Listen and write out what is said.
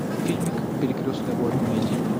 фильмик перекрестные войны найди